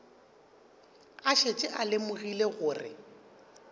a šetše a lemogile gore